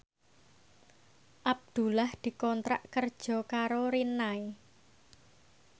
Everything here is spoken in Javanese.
Abdullah dikontrak kerja karo Rinnai